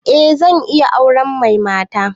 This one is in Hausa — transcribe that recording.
Eh zan iya auren mai mata